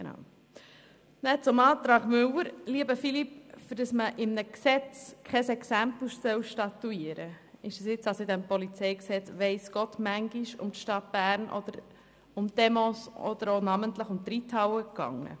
Zum Antrag von Grossrat Müller: Dafür, dass man bei einem Gesetz nicht ein Exempel statuieren soll, ist es im Rahmen dieser Gesetzesberatung sehr oft um die Stadt Bern gegangen.